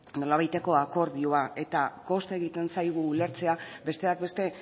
nolabaiteko akordioa kosta egiten zaigu ulertzea besteak beste